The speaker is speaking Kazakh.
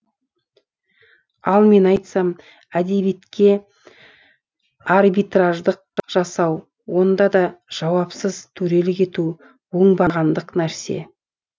ал мен айтсам әдебиетке арбитраждық жасау онда да жауапсыз төрелік ету оңбағандық нәрсе